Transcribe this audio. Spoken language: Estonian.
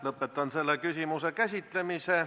Lõpetan selle küsimuse käsitlemise.